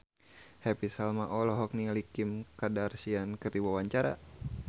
Happy Salma olohok ningali Kim Kardashian keur diwawancara